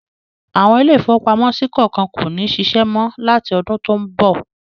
Àwọn ilé-ìfowópamọ́sí kọ̀ọ̀kan kò ní ṣiṣẹ́ mọ́ láti ọdun tó ń bọ̀.